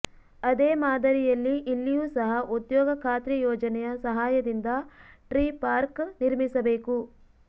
ಅದೇ ಮಾದರಿಯಲ್ಲಿ ಇಲ್ಲಿಯೂ ಸಹ ಉದ್ಯೋಗ ಖಾತ್ರಿ ಯೋಜನೆಯ ಸಹಾಯದಿಂದ ಟ್ರೀ ಪಾರ್ಕ್ ನಿರ್ಮಿಸಬೇಕು